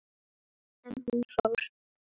En hún fór.